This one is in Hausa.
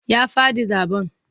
Ya faɗi zaɓen.